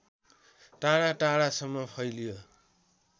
टाढाटाढासम्म फैलियो